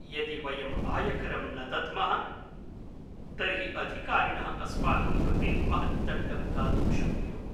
यदि वयं आयकरं न दद्मः तर्हि अधिकारिणः अस्माकं कृते महत् दण्डं दातुं शक्नुयुः।